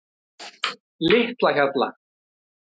Litlahjalla